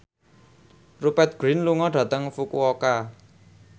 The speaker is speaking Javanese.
Rupert Grin lunga dhateng Fukuoka